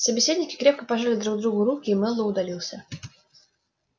собеседники крепко пожали друг другу руки и мэллоу удалился